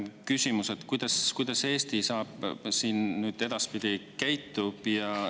Küsimus: kuidas Eesti edaspidi käitub?